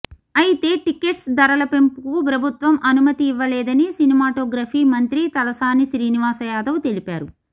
అయితే టికెట్స్ ధరల పెంపుకు ప్రభుత్వం అనుమతి ఇవ్వలేదని సినిమాటోగ్రఫీ మంత్రి తలసాని శ్రీనివాసయాదవ్ తెలిపారు